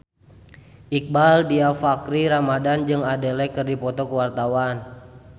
Iqbaal Dhiafakhri Ramadhan jeung Adele keur dipoto ku wartawan